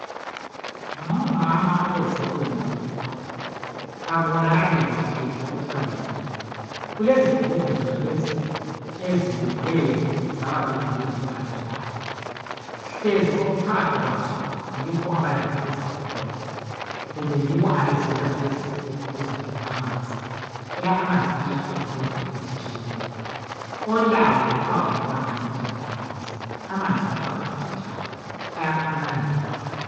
Ngomama abeze kuyonale indawo. Kakubonakali kuhle ukuthi balandeni. Kulezigubhu zonalezi ezibekwe zaba ludwendwe, zalandelana. Hlezi okuphakathi kwazo yikho abalande ukuzakuhola. Kumbe yibo abeze lazo lezizigubhu, ukuzadinga amanzi. Phela amanzi ayahlupha kundawo ezitshiyeneyo. Olawo kuthiwa kakumelanga ancitshane lamanzi. Amanzi kuthiwa kawancitshwana. Ayaphananwa nje mahala.